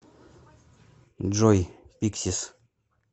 джой пиксис